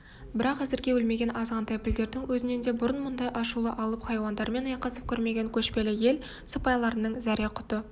бірақ әзірге өлмеген азғантай пілдердің өзінен де бұрын мұндай ашулы алып хайуандармен айқасып көрмеген көшпелі ел сыпайларының зәре-құты